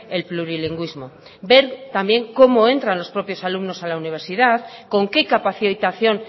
el plurilingüismo ver también cómo entran los propios alumnos a la universidad con qué capacitación